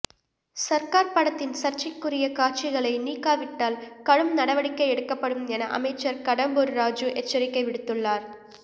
சர்கார் படத்தின் சர்ச்சைக்குரிய காட்சிகளை நீக்காவிட்டால் கடும் நடவடிக்கை எடுக்கப்படும் என அமைச்சர் கடம்பூர் ராஜூ எச்சரிக்கை விடுத்துள்ளார்